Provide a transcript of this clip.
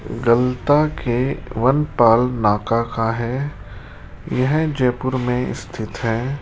गलता के वनपाल नाका का है यह जयपुर में स्थित है।